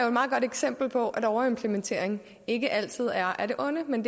et meget godt eksempel på at overimplementering ikke altid er af det onde men